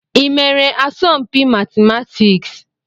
Ị mere asọmpi matịmatịks?